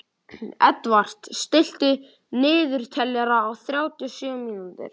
Edvard, stilltu niðurteljara á þrjátíu og sjö mínútur.